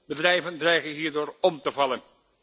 Bedrijven dreigen hierdoor om te vallen.